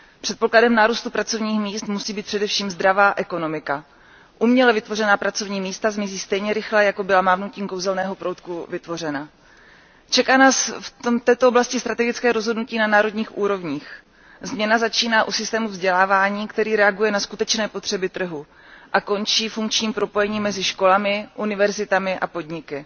Předpokladem nárůstu pracovních míst musí být především zdravá ekonomika. Uměle vytvořená pracovní místa zmizí stejně rychle, jako byla mávnutím kouzelného proutku vytvořena. Čeká nás v této oblasti strategické rozhodnutí na národních úrovních změna začíná u systému vzdělávání, který reaguje na skutečné potřeby trhu, a končí funkčním propojením mezi školami, univerzitami a podniky.